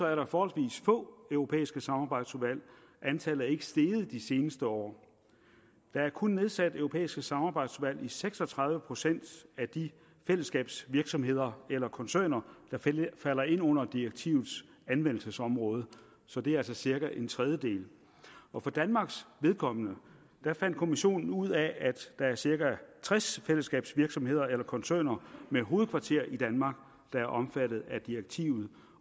er der forholdsvis få europæiske samarbejdsudvalg antallet er ikke steget de seneste år der er kun nedsat europæiske samarbejdsudvalg i seks og tredive procent af de fællesskabsvirksomheder eller koncerner der falder ind under direktivets anvendelsesområde så det er altså cirka en tredjedel og for danmarks vedkommende fandt kommissionen ud af at der er cirka tres fællesskabsvirksomheder eller koncerner med hovedkvarter i danmark der er omfattet af direktivet